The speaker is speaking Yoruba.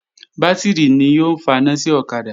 Bátìrì ni yóò faná sí ọ̀kadà